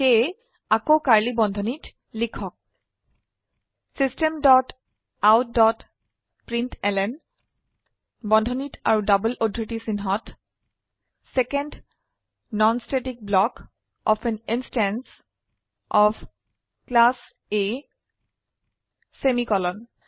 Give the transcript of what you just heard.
সেয়ে আকৌ কাৰ্ড়লী বন্ধনীত লিখক system dot out dot println বন্ধনীত আৰু ডবল উদ্ধৃতি চিনহত second non static block of an instance of class A semicolon